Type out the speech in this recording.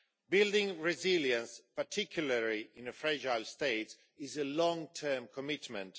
Building resilience, particularly in a fragile state, is a long term commitment.